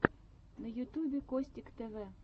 на ютьюбе костик тв